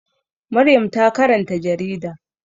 Maryam ta karanta jarida.